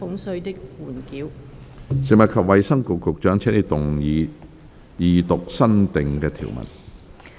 食物及衞生局局長，請動議二讀新訂條文。